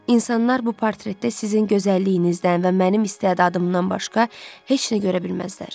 İnsanlar bu portretdə sizin gözəlliyinizdən və mənim istedadımdan başqa heç nə görə bilməzlər.